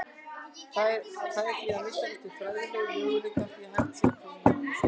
Það er því, að minnsta kosti fræðilegur, möguleiki á því hægt sé að klóna manneskju.